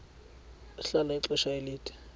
ahlala ixesha elide